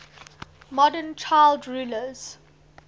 modern child rulers